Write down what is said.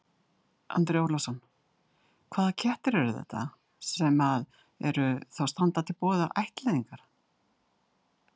Andri Ólafsson: Hvaða kettir eru þetta sem að eru, þá standa til boða til ættleiðingar?